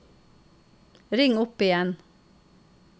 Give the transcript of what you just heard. ring opp igjen